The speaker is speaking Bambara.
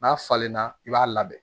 N'a falenna i b'a labɛn